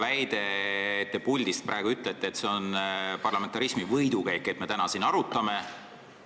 Te ütlesite puldist, et see on parlamentarismi võidukäik, et me seda siin täna arutame.